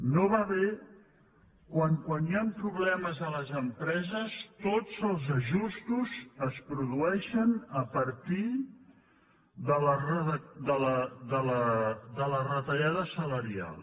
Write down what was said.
no va bé que quan hi han problemes a les empreses tots els ajustos es produeixin a partir de la retallada salarial